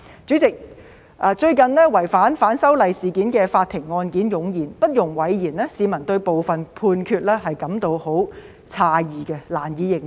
主席，最近有關反修例事件的法庭案件湧現，不容諱言，市民對部分判決感到十分詫異，難以認同。